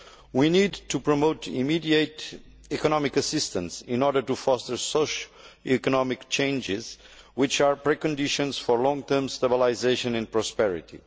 We need to promote immediate economic assistance in order to foster the kind of economic changes which are preconditions for long term stabilisation and prosperity.